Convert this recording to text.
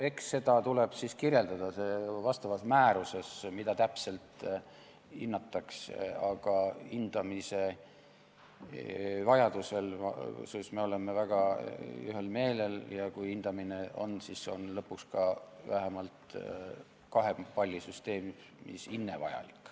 Eks seda tuleb siis kirjeldada vastavas määruses, mida täpselt hinnatakse, aga hindamise vajaduses oleme me väga ühel meelel, ja kui hindamine on, siis on lõpuks ka vähemalt kahepallisüsteemis hinne vajalik.